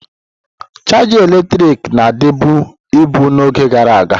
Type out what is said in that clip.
Chaja eletrik na-adịbu ibu n'oge gara aga.